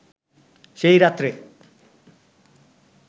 সেই রাত্রে